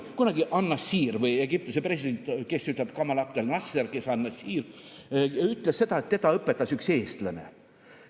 Kunagi an-Nāṣir, Egiptuse president – kes ütleb Gamal Abdel Nasser, kes an-Nāṣir –, ütles, et teda õpetas üks eestlane.